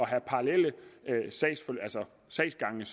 have parallelle sagsgange